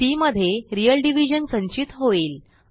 C मध्ये real division संचित होईल